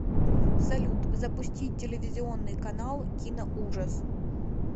салют запустить телевизионный канал киноужас